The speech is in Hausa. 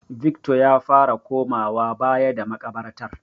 Victor ya fara komawa baya da maƙabartar.